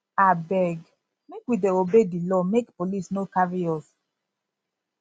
abeg make we dey obey di law make police no carry us